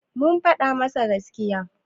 kun faɗa masa gaskiya?